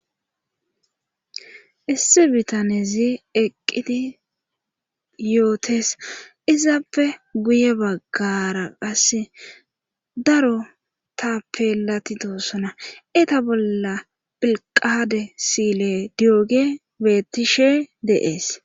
Issi bitanezi eqqidi yootes izappe guye baggara qase daro taappelatidossona eta bolla pilqaade siile diyoge bettishe deees